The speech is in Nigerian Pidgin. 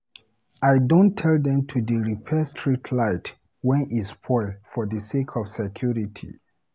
I don tel dem to dey repair street light wen e spoil for sake of security.